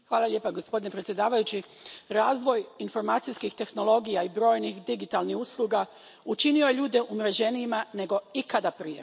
Gospodine predsjedavajući, razvoj informacijskih tehnologija i brojnih digitalnih usluga učinio je ljude umreženijima nego ikad prije.